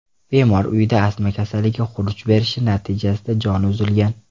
Bemor uyida astma kasalligi xuruj berishi natijasida joni uzilgan.